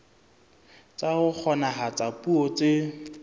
tsa ho kgonahatsa puo tse